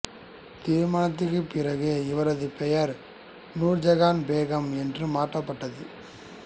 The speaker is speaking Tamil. திருமணத்திற்குப் பிறகு இவரது பெயர் நூர்ஜஹான் பேகம் என்று மாற்றப்பட்டது